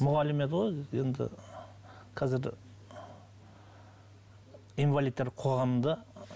мұғалім еді ғой енді қазір инвалидтер қоғамында